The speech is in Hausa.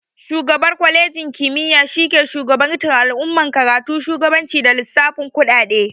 Shugabar kwalenji kimiya shi ke shugabantar al'amuran karatu, shugabanci, da lissafin kuɗaɗe